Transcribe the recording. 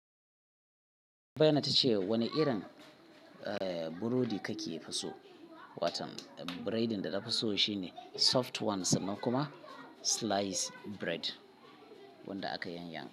Bayyana ta ce wane irin eh burodi kake fi so? Watan biredin da na faso shine soft ones nan kuma slice bread wanda aka yanyanke.